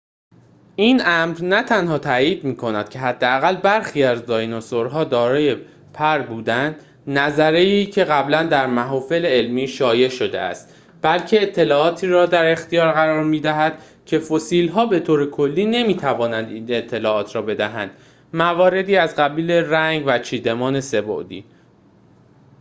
این امر نه تنها تأیید می‌کند که حداقل برخی از دایناسورها دارای پر بودند نظریه‌ای که قبلاً در محافل علمی شایع شده است بلکه اطلاعاتی را در اختیار قرار می‌دهد که فسیل‌ها به طور کلی نمی‌توانند این اطلاعات را بدهند مواردی از قبیل رنگ و چیدمان سه‌بعدی